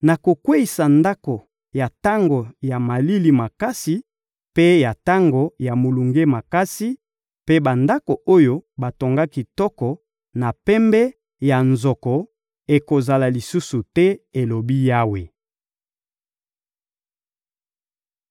Nakokweyisa ndako ya tango ya malili makasi mpe ya tango ya molunge makasi; mpe bandako oyo batonga kitoko na pembe ya nzoko ekozala lisusu te,» elobi Yawe.